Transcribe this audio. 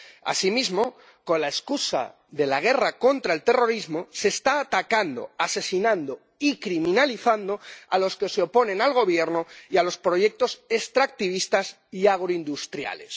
Asimismo, con la excusa de la guerra contra el terrorismo, se está atacando, asesinando y criminalizando a los que se oponen al Gobierno y a los proyectos extractivistas y agroindustriales.